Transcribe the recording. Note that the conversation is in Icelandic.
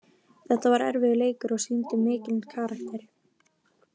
Þetta var erfiður leikur og við sýndum mikinn karakter.